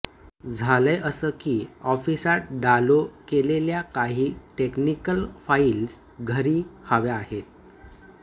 झालय असं की ऑफिसात डालो केलेल्या काही टेक्निकल फाईल्स घरी हव्या आहेत